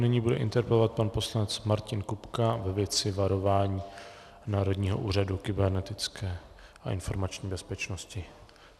Nyní bude interpelovat pan poslanec Martin Kupka ve věci varování Národního úřadu kybernetické a informační bezpečnosti.